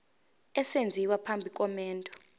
esenziwa phambi komendo